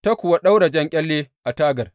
Ta kuwa ɗaura jan ƙyalle a tagar.